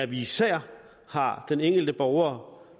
vi især har den enkelte borger